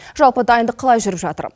жалпы дайындық қалай жүріп жатыр